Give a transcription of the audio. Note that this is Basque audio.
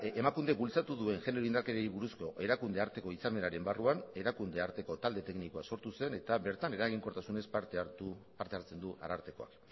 emakunde bultzatu duen genero indarkeriei buruzko erakunde arteko hitzarmenaren barruan erakunde arteko talde teknikoa sortu zen eta bertan eraginkortasunez parte hartzen du arartekoak